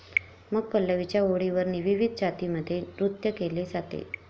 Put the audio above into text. मग पल्लवीच्या ओळींवर विविध जातीमध्ये नृत्य केले जाते.